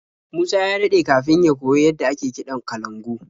Musa ya daɗe kafin ya koyi yadda ake kiɗan kalangu.